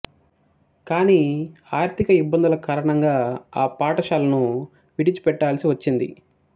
కానీ ఆర్థిక ఇబ్బందుల కారణంగా ఆ పాఠశాలను విడిచిపెట్టాల్సి వచ్చింది